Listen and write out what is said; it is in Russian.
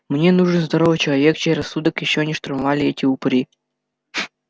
мне нужен здоровый человек чей рассудок ещё не штурмовали эти упыри